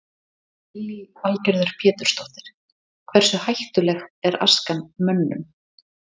Lillý Valgerður Pétursdóttir: Hversu hættuleg er askan mönnum?